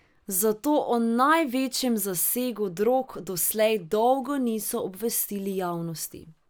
Zato o največjem zasegu drog doslej dolgo niso obvestili javnosti.